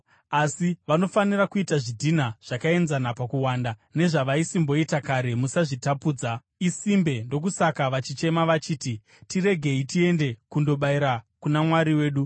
Asi vanofanira kuita zvidhina zvakaenzana pakuwanda nezvavaisimboita kare; musazvitapudza. Isimbe; ndokusaka vachichema vachiti, ‘Tiregei tiende kundobayira kuna Mwari wedu.’